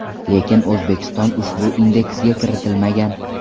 Lekin O‘zbekiston ushbu indeksga kiritilmagan.